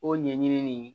O ɲɛɲini nin